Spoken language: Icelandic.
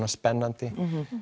spennandi